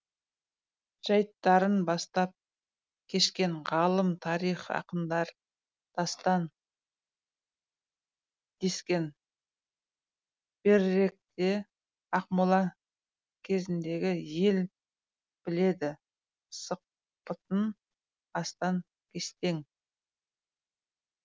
жайттарын бастан кешкен ғалым тарих ақындар дастан дескен беріректе ақмола кезіндегі ел біледі сықпытын астан кестең